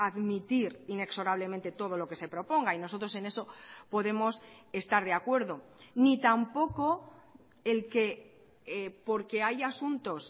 admitir inexorablemente todo lo que se proponga y nosotros en eso podemos estar de acuerdo ni tampoco el que porque haya asuntos